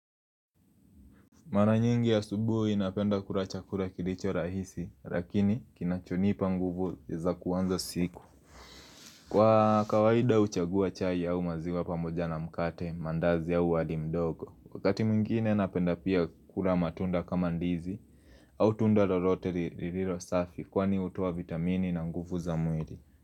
Mara nyingi asubuhi napenda kula chakula kilicho rahisi lakini kinachonipa nguvu za kuanza siku Kwa kawaida huchagua chai au maziwa pamoja na mkate mandazi au wali mdogo Wakati mwingine napenda pia kula matunda kama ndizi au tunda lolote lililo safi kwani hutoa vitamini na nguvu za mwili.